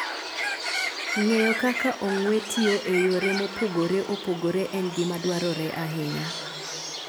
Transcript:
Ng'eyo kaka ong'we tiyo e yore mopogore opogore en gima dwarore ahinya.